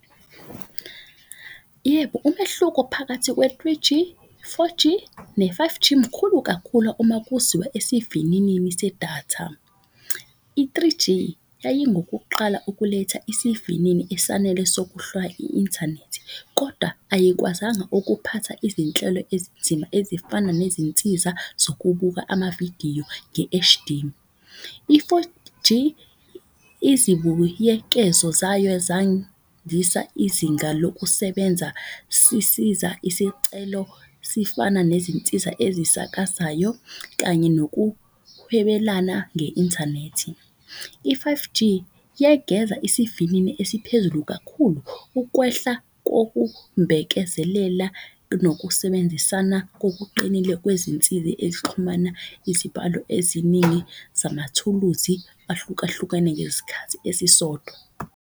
Yebo, umehluko phakathi kwe-three G, four G, ne-five G mkhulu kakhula uma kuziwa esivininini sedatha. I-three G, yayi ngokuqala ukuletha isivinini esanele i-inthanethi. Koda ayikwazanga ukuphatha izinhlelo ezinzima ezifana nezinsiza zokubuka amavidiyo nge-H_D. I-four G, izibuyekezo zayo izinga lokusebenza sisiza isicelo sifana nezinsiza ezisakazayo kanye nokuhwebelana nge-inthanethi. I-five G, yegeza isivinini esiphezulu kakhulu. Ukwehla kokumbekezelela nokusebenzisana kokuqinile kwezinsizi ezixhumana izibalo eziningi zamathuluzi ahlukahlukane ngezikhathi esisodwa.